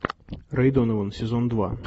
рэй донован сезон два